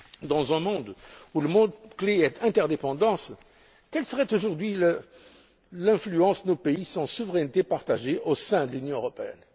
Dans un monde où le mot clé est interdépendance, quelle serait aujourd'hui l'influence de nos pays sans souveraineté partagée au sein de l'Union européenne?